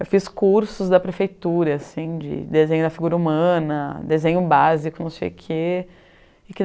Eu fiz cursos da prefeitura assim, de desenho da figura humana, desenho básico, não sei o quê.